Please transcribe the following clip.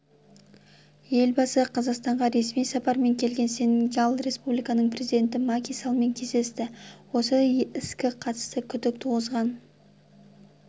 елбасы қазақстанға ресми сапармен келген сенегал республикасының президенті маки саллмен кездесті осы іске қатысты күдік туғызған